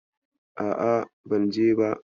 A'a, ban je ba.